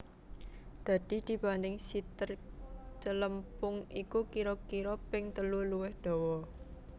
Dadi dibanding siter celempung iku kira kira ping telu luwih dawa